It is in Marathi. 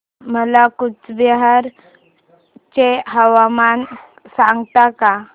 मला कूचबिहार चे हवामान सांगता का